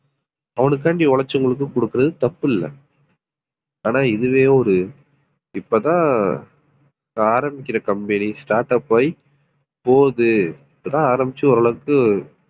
அவனுக்காண்டி உழைச்சவங்களுக்கு கொடுக்கிறது தப்பில்லை ஆனா இதுவே ஒரு இப்பதான் ஆஹ் ஆரம்பிக்கிற company startup ஆயி போகுது இப்பதான் ஆரம்பிச்சு ஓரளவுக்கு